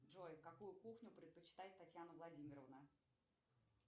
джой какую кухню предпочитает татьяна владимировна